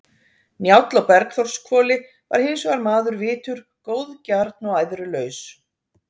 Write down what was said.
Njáll á Bergþórshvoli var hins vegar maður vitur, góðgjarn og æðrulaus.